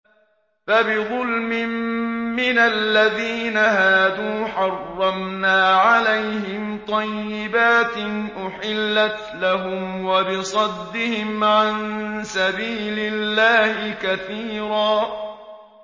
فَبِظُلْمٍ مِّنَ الَّذِينَ هَادُوا حَرَّمْنَا عَلَيْهِمْ طَيِّبَاتٍ أُحِلَّتْ لَهُمْ وَبِصَدِّهِمْ عَن سَبِيلِ اللَّهِ كَثِيرًا